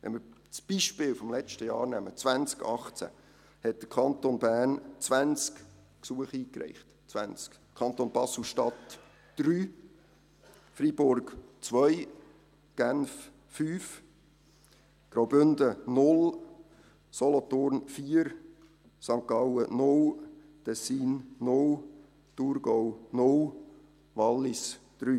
Im Jahr 2018 zum Beispiel hat der Kanton Bern 20 Gesuche eingereicht, der Kanton BaselStadt 3, Freiburg 2, Genf 5, Graubünden 0, Solothurn 4, St. Gallen 0, Tessin 0, Thurgau 0, Wallis 3.